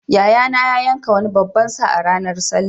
Yayana ya yanka wani babban sa a ranar sallah.